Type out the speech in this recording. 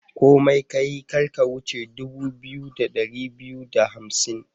Komai kayi, kar ka wuce dubu biyu da dari biyu da hamsin.